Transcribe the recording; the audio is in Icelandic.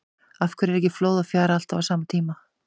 Af hverju er ekki flóð og fjara alltaf á sama tíma?